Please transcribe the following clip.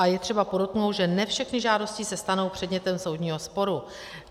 A je třeba podotknout, že ne všechny žádosti se stanou předmětem soudního sporu.